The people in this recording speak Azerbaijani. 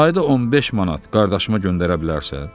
ayda 15 manat qardaşıma göndərə bilərsən?